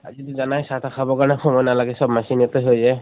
আজিটো জানাই চাহ তা খাবলৈ সময় নালাগে, চব machine তে হৈ যায়।